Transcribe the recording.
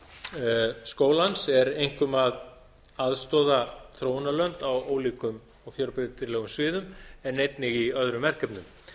markmið skólans er einkum að aðstoða þróunarlönd á ólíkum fjölbreytilegum sviðum en einnig í öðrum verkefnum